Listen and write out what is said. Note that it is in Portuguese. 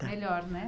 Melhor, né?